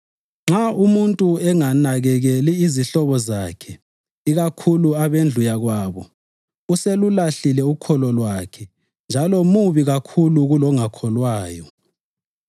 Nxa umuntu enganakekeli izihlobo zakhe ikakhulu abendlu yakwabo, uselulahlile ukholo lwakhe njalo mubi kakhulu kulongakholwayo.